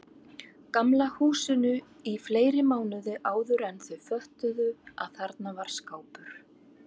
Gamla húsinu í fleiri mánuði áðuren þau föttuðu að þarna var skápur.